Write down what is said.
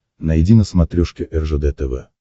найди на смотрешке ржд тв